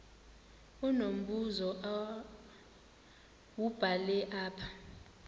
unombuzo wubhale apha